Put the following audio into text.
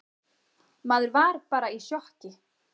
Maður var bara í sjokki.